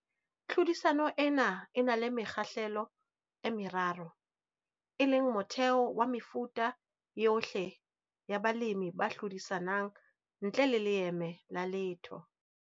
Tlhodisano ena e na le mekgahlelo e meraro, e leng motheho wa mefuta yohle ya balemi ba hlodisanang ntle le leeme la letho.